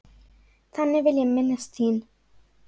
Þannig vil ég minnast þín.